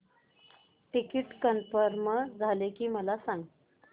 ticket confirm झाले की मला सांग